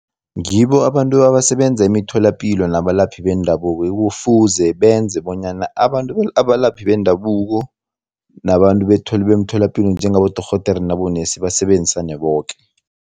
Ngibo abantu abasebenza emitholapilo nabelaphi bendabuko ekufuze benze bonyana abalaphi bendabuko nabantu bemtholapilo njengabodorhodere nabonesi basebenzisane boke.